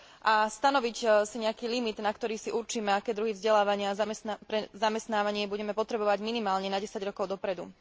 a stanoviť si nejaký limit, na ktorý si určíme, aké druhy vzdelávania pre zamestnávanie budeme potrebovať minimálne na desať rokov dopredu.